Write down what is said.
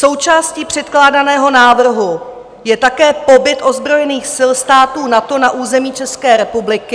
Součástí předkládaného návrhu je také pobyt ozbrojených sil států NATO na území České republiky.